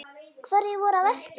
Hverjir voru að verki?